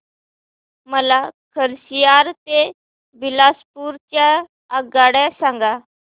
मला खरसिया ते बिलासपुर च्या आगगाड्या सांगा